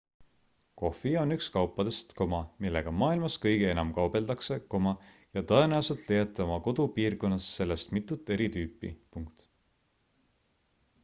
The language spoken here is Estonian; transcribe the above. kohvi on üks kaupadest millega maailmas kõige enam kaubeldakse ja tõenäoliselt leiate oma kodupiirkonnas sellest mitut eri tüüpi